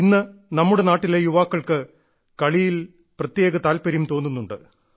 ഇന്ന് നമ്മുടെ നാട്ടിലെ യുവാക്കൾക്ക് കളിയിൽ പ്രത്യേക താൽപര്യം തോന്നുന്നുണ്ട്